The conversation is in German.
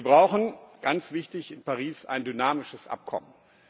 Wir brauchen das ist ganz wichtig in Paris ein dynamisches Abkommen.